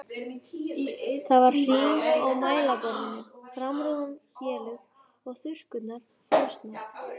Það var hrím á mælaborðinu, framrúðan héluð og þurrkurnar frosnar.